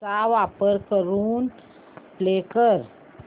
चा वापर करून पे कर